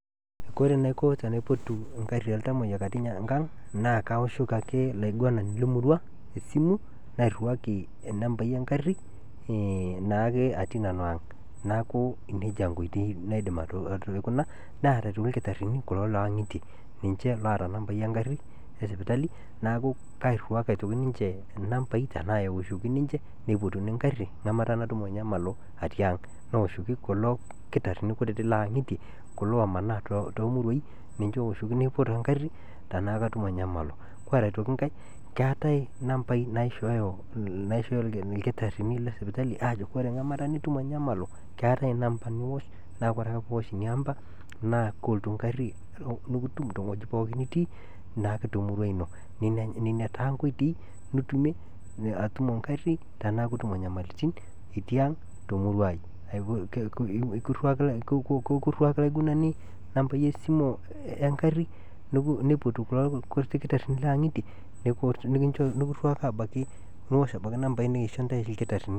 kore naiko tenaipotu eng'arri ooltamoyiak atii inkang naa ake laiguanani le murua esimu nairuaki enambai eng'arri naake atii nanu aang'neaku neja inkoitoi naidim aikuna, neata oitoki lkitarini kulo le aing'itie ninche oota nambaii eng'arri esipitali naaku kiruaki aitoki ninche nambaii tenaa eoshoki ninche neipotuni inkarri ng'amata natumo inyamalo atii aang',neoshoki kulo irkitarini kutiti lotii ang'itie kulo omanaa too muruaaii ninche ooshoki neipot ing'arri tenaa katumo inyamalo, koree aitoki inkae, keatae naishooyo irkitarini le sipitali aajo koree ng'amata nitumo inyamalo keatai namba niosh naa ore ake piosh ina amba naa kolotu ing'arri nikitum teweji pooki nitii naake te murua ino, nenia taa nkoiteiii nitumie atumo ing'arri teneaku itumo inyamaliritin itii aang' te muruaai, kuruaki laiguanani nambai esimu eng'arri neipotu kulo irkitarini le ang'itie niosh abaki nambaii naisho intae olkitarini.